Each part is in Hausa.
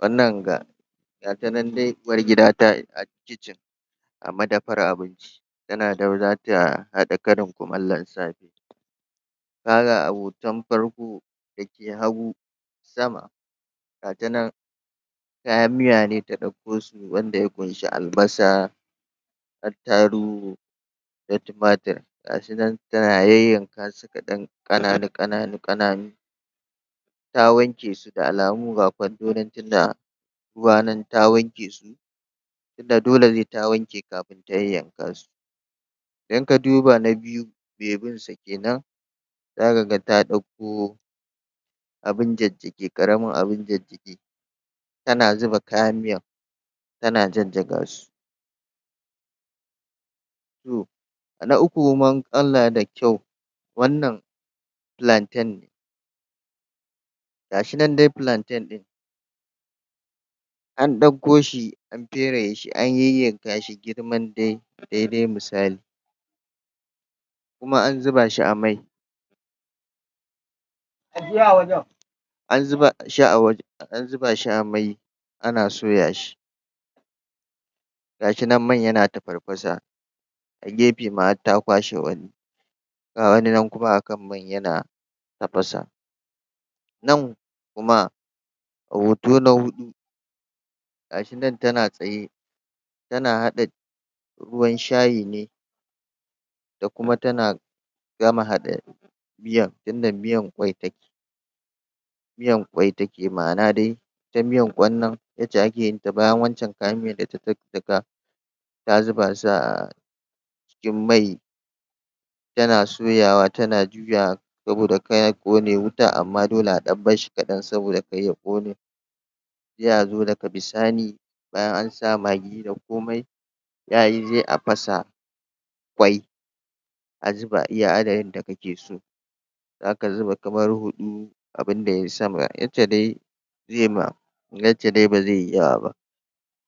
wannan ga gatanan dai uwargida a kicin a madafar abinci tana za ta haɗa karin kumallon safe ka ga a hoton farko da ke hagu zama gatanan kayan miya ne da ɗauko su wanda ya ƙunshi albasa attarugu da tumatur ga su nan tana yanyanka su kaɗan ƙananu ƙananu ta wanke su da alamu ga kwando nan da ruwa nan ta wanke dole sai ta wanke kafin ta yanyanka idan ka duba na biyu mai binsa kenan za ka ga ta ɗauko abin jajjage ƙaramin abin? tana zuba kayan miyan tana jajjaga su toh na ukun da kyau wannan plantain ne gashi nan dai plantain ɗin ne an ɗauko shi an fereye shi an yanyanka shi girman dai daidai misali kuma an zuba shi a mai an zuba shi a wajan an zuba shi a mai ana soyashi gashi nan man yana tafarfasa a gefe ma har ta kwashe wani ga wani nan kuma a kan mai yana tafasa nan kuma a hoto na huɗu ga shi nan tana tsaye tana haɗa ruwan shayine da kuma tana gama haɗa miyan tunda miyan ƙwai ta ke miyan ƙwai ta ke ma'ana dai ta miyan ƙwan nan yadda ake yin ta bayan wancan kayan miyan da ta jajjaga ta zuba su a cikin mai tana soyawa tana ga saboda kar ya ƙone wutan amma dole a ɗan barshi kaɗan saboda kar ya ƙone sai a zo daga bisani bayan an sa maggi da komai a fasa ƙwai a zuba iya adadin da kake so za ka zuba kamar huɗu abinda yayi sama duk da dai zai ma yadda ba zai yi yawa ba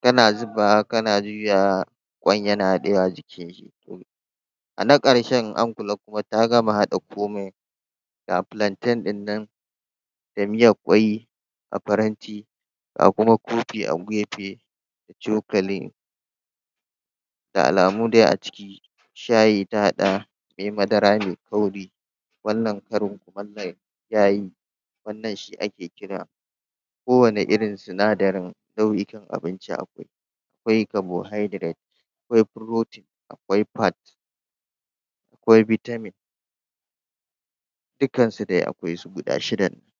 kana zubawa kana juyawa ƙwan yana haɗewa a jikinshi a na ƙarshen in an kula kuma ta gama haɗa komai ga plantain ɗin nan da miyar ƙwai a faranti ga kuma kofi a gefe da cokali da alamu dai a ciki shayi ta haɗa mai madara mai kauri wannan karin kumallon yayi wannan shi ake kira kowanne irin sinadarin nau'ikan abinci akwai akwai carbohydrate akwai protein akwai fat akwai vitamin dukkansu dai akwai su guda shidan nan